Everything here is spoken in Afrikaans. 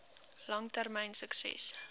lang termyn sukses